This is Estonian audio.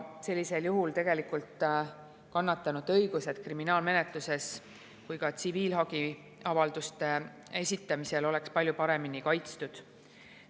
Sellisel juhul on kannatanute õigused kriminaalmenetluses ja ka tsiviilhagiavalduste esitamisel palju paremini kaitstud.